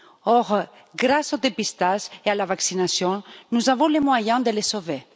Or, grâce au dépistage et à la vaccination, nous avons les moyens de les sauver.